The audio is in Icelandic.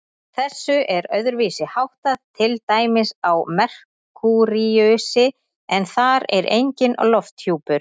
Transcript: Þessu er öðruvísi háttað til dæmis á Merkúríusi, en þar er enginn lofthjúpur.